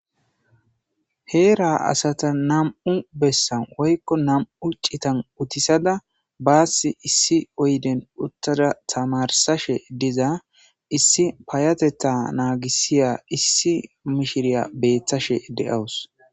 Heera asata nam'u bessan woyko nam'u citan uttisada baasi issi oyden uttada tamarsashe diza issi payatetha naagisiza issi mishiriga beetashe de'awuus.